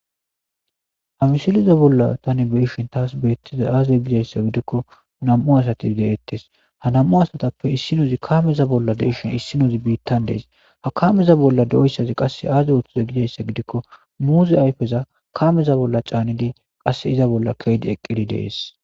Hamisiliza bolla tani beishin taas beettiza aaze gidayssa gidikko nam'u asati deettes hanam'u asatappe issinuzi kaameza bolla deishin issinuzi biittan dees ha kameza bolla do'issazi qasse aaze wottoza gidayssa gidikko muuzi ayfeza kaameza bolla caanidi qasse iza bolla keedi eqqidi dees.